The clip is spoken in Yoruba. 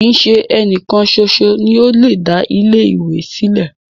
Kii ṣe ẹnìkan ṣoṣo ni o le da ilẹ ìwé sílẹ̀.